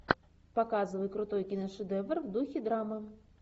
показывай крутой киношедевр в духе драмы